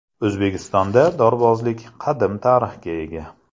O‘zbekistonda dorbozlik qadim tarixga ega.